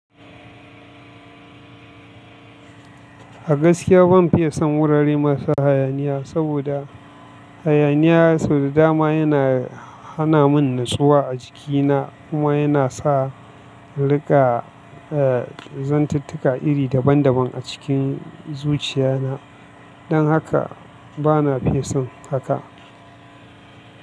A gaskiya ban fiye son wurare masu hayaniya saboda hayaniya sau da dama yana hana mun nutsuwa a jikina kuma yana sa in rika zantitika iri daban daban a cikin zuciya na. Dan haka bana fison haka.